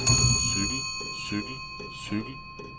cykel cykel cykel